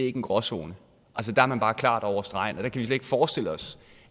ikke en gråzone der er man bare klart gået over stregen der kan ikke forestille os